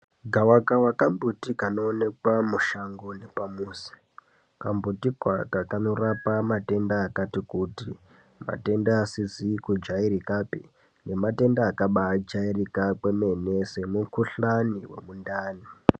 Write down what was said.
Gavakava kambuti kanoonekwa kanoonekwa mushango nepamuzi kamumbuti aka kanorapa matenda akatikuti matenda matenda asizi kujairikapi nematenda kabaijairika kwemene semukhuhlani wemundani.